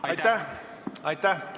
Aitäh!